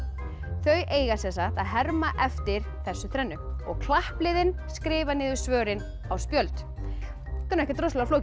þau eiga að herma eftir þessu þrennu klappliðin skrifa niður svörin á spjöld þetta er ekkert rosalega flókið